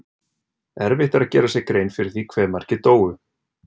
Erfitt er að gera sér grein fyrir því hve margir dóu.